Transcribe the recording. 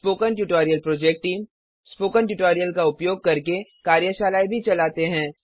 spoken tutorial project team spoken tutorial का उपयोग करके कार्यशालाएँ भी चलाते हैं